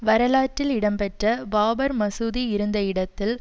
வரலாற்றில் இடம்பெட்ட பாபர் மசூதி இருந்த இடத்தில்